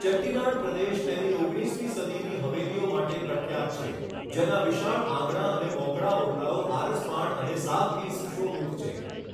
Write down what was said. ચેટ્ટીનાડ પ્રદેશ તેની ઓગણીસમી સદીની હવેલીઓ માટે પ્રખ્યાત છે, જેના વિશાળ આંગણાં અને મોકળા ઓરડાઓ આરસપહાણ અને સાગથી સુશોભિત છે.